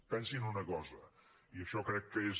pensin una cosa i això crec que és